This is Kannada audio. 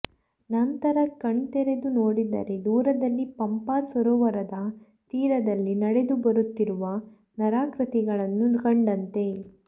ನಂತರ ಕಣ್ದೆರೆದು ನೋಡಿದರೆ ದೂರದಲ್ಲಿ ಪಂಪಾ ಸರೋವರದ ತೀರದಲ್ಲಿ ನಡೆದುಬರುತ್ತಿರುವ ನರಾಕೃತಿಗಳನ್ನು ಕಂಡನಂತೆ